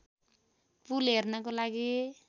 पुल हेर्नको लागि